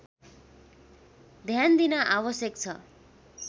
ध्यान दिन आवश्यक छ